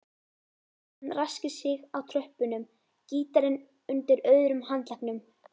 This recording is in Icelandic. Hann ræskir sig á tröppunum, gítarinn undir öðrum handleggnum.